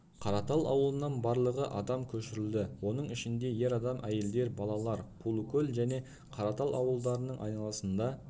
қаратал ауылынан барлығы адам көшірілді оның ішінде ер адам әйелдер балалар қулыкөл және қаратал ауылдарының айланасында